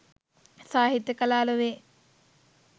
සාහිත්‍ය කලා ලොවේ